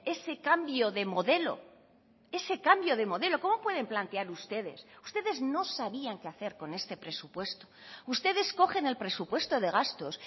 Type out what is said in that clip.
ese cambio de modelo ese cambio de modelo cómo pueden plantear ustedes ustedes no sabían qué hacer con este presupuesto ustedes cogen el presupuesto de gastos